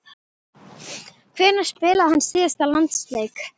Hvenær spilaði hann síðast landsleik?